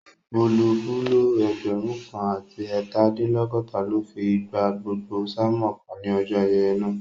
Bulobúló ẹgbẹ̀rún kan àti ẹẹtadinlọgọta ló fi gba gbogbo sánmòn kan ní ọjọ́ ayẹyẹ náà